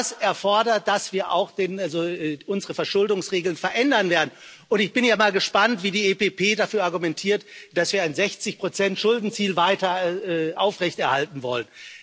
Das erfordert, dass wir auch unsere Verschuldungsregeln verändern werden, und ich bin ja mal gespannt, wie die EPP dafür argumentiert, dass wir ein 60 Schuldenziel weiter aufrechterhalten wollen.